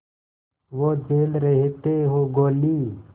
वो झेल रहे थे गोली